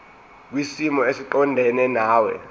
kwisimo esiqondena nawe